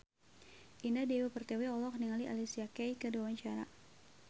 Indah Dewi Pertiwi olohok ningali Alicia Keys keur diwawancara